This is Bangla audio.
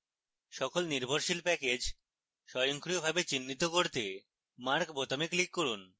সকল নির্ভরশীল প্যাকেজ স্বয়ংক্রিয়ভাবে চিহ্নিত করতে mark বোতামে click করুন